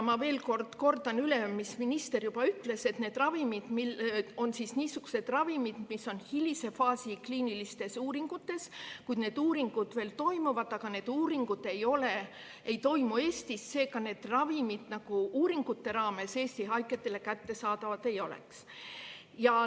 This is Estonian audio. Ma veel kord kordan üle, mida minister juba ütles, et need on niisugused ravimid, mis on kliiniliste uuringute hilises faasis, need uuringud veel toimuvad, aga need uuringud ei toimu Eestis, seega need ravimid uuringute raames Eesti haigetele kättesaadavad ei ole.